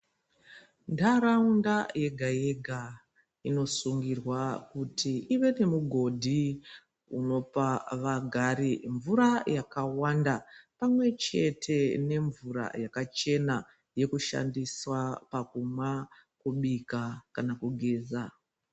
Ndaraunda yega yega inosungirwa kuti ive nemugodhi unopa vagari mvura yakawanda pamwechete nemvura yakachena yekushandiswa pakumwa, kubika kana kugeza.